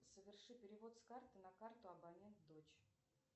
соверши перевод с карты на карту абонент дочь